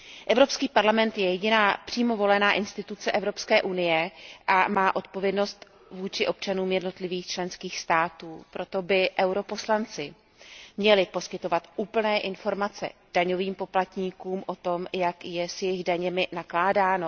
Evropský parlament je jediným přímo voleným orgánem Evropské unie a má odpovědnost vůči občanům jednotlivých členských států, proto by poslanci EP měli poskytovat úplné informace daňovým poplatníkům o tom, jak je s jejich daněmi nakládáno.